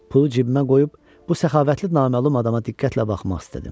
Pulu cibimə qoyub bu səxavətli naməlum adama diqqətlə baxmaq istədim.